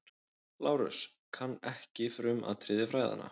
LÁRUS: Kann ekki frumatriði fræðanna.